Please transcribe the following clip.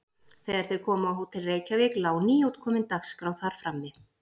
Þegar þeir komu á Hótel Reykjavík lá nýútkomin Dagskrá þar frammi.